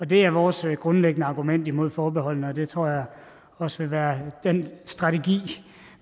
det er vores grundlæggende argument imod forbeholdene og det tror jeg også vil være den strategi